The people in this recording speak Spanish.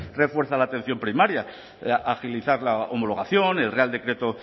refuerza la atención primaria agilizar la homologación el real decreto